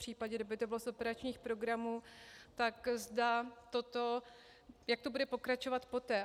Případně, kdyby to bylo z operačních programů, tak zda toto, jak to bude pokračovat poté.